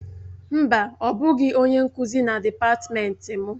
Mba, ọ bụghị onye nkuzi na dịpatmenti m.